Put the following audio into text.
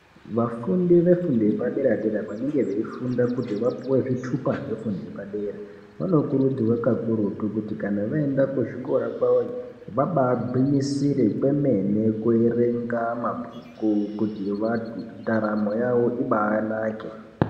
Vafundi vefundo yepaderadera vanenge veifunda kuti vapiwe zvitupa zvefundo yepadera vanokurudzirwa kaurutu kuti kana vaende kuzvikora kwavoyo vaba agwinyisira kwemene kuerenge mabhuku kuti ndaramo yawo iba anake.